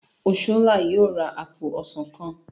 Oshola yóò rà apo ọsán èso.